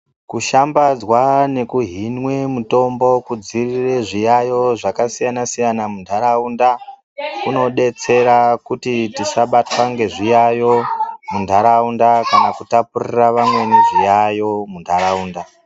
Kushambadzwa ndokuhwine mitombo kudzivirire zviyayo zvakasiyana siyana mundaraunda inobetsera kuti tisa zviyayo kana zvindaraunda kutapurirana vamwe ndezviyayo mundaraunda